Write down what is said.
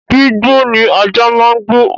Gbígbó ni ajá ń gbó